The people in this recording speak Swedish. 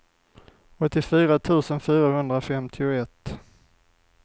åttiofyra tusen fyrahundrafemtioett